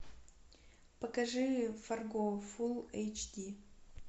покажи фарго фул эйч ди